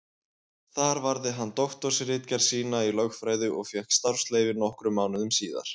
Þar varði hann doktorsritgerð sína í lögfræði og fékk starfsleyfi nokkrum mánuðum síðar.